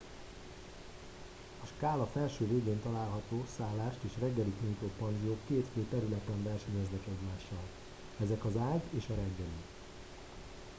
a skála felső végén található szállást és reggelit nyújtó panziók két fő területen versenyeznek egymással ezek az ágy és a reggeli